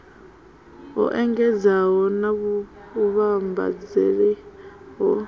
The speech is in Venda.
ho engedzeaho na vhuvhambadzaseli ho